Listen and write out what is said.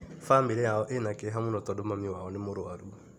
Bamĩrĩ yao ĩna kĩeha mũno tondũ mami wao nĩ mũrũaru.